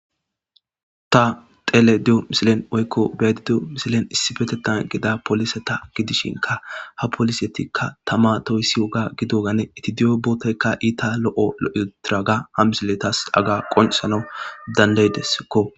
Ta teledi7o misilen oykko beyadi deo misilen issi betetan gida polise ta gidishinka ha polisetikka tama toyssi woga gidogane iti di7o bootoykka iita lo7o lo7etiraga ha misiletas aga qonsana dandaydessikko.